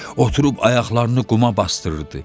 Oturub ayaqlarını quma basdırırdı.